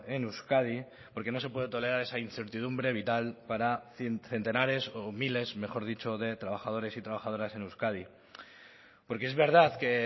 en euskadi porque no se puede tolerar esa incertidumbre vital para centenares o miles mejor dicho de trabajadores y trabajadoras en euskadi porque es verdad que